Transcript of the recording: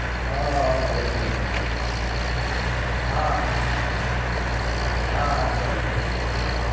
હા હા એક દમ એક દમ હા હા ચાલો ચાલો